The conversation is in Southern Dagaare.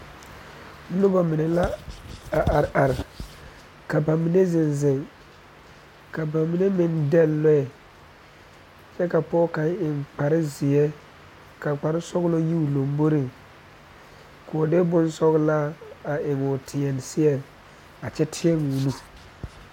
Noba mine la are are ka ba mine zeŋ zeŋ ka ba mime maŋ dɛgle lɔɛ kyɛ ka pɔɔ kaŋ eŋ kpar zeɛ la kpar sɔgelɔ yi o lamboriŋ ko o de bonsɔgelaa a eŋ o teɛ seɛŋ a kyɛ teɛ o nu